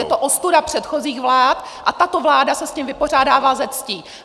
Je to ostuda předchozích vlád a tato vláda se s tím vypořádává se ctí.